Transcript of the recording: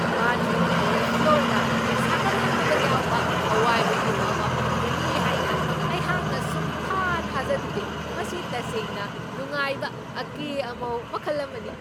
ꯕꯥꯠꯔꯨꯝꯒꯤ ꯐ꯭ꯂꯣꯔꯗ ꯁꯥꯒꯠꯍꯟꯅꯕ ꯌꯥꯎꯕ ꯑꯋꯥꯏꯕ ꯌꯨꯝ ꯑꯃ ꯐꯪꯒꯅꯤ ꯍꯥꯏꯅ ꯑꯩꯍꯥꯛꯅ ꯁꯨꯛꯊꯥ ꯊꯥꯖꯔꯨꯗꯦ, ꯃꯁꯤ ꯇꯁꯦꯡꯅ ꯅꯨꯡꯉꯥꯏꯕ ꯑꯀꯦ ꯑꯃꯧ ꯃꯈꯜ ꯑꯃꯅꯤ!